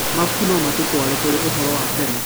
Mabuku no matũtũare kũrĩ ũhoro wa tene.